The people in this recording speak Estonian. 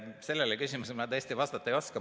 Sellele küsimusele ma tõesti vastata ei oska.